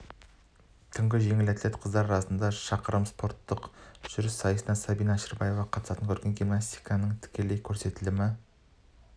түнгі жеңіл атлет қыздар арасында шақырым спорттық жүріс сайысы сабина әшірбаева қатысатын көркем гимнастиканың тікелей көрсетілімі